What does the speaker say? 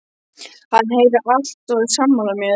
Hann heyrir allt og er sammála mér.